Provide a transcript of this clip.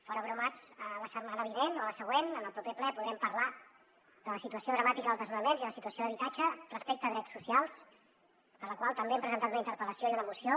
fora bromes la setmana vinent o la següent en el proper ple podrem parlar de la situació dramàtica dels desnonaments i de la situació d’habitatge respecte a drets socials per la qual també hem presentat una interpel·lació i una moció